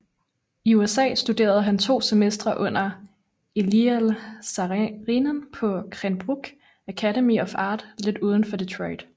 I USA studerede han to semestre under Eliel Saarinen på Cranbrook Academy of Art lidt uden for Detroit